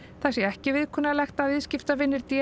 það sé ekki viðkunnanlegt að viðskiptavinir d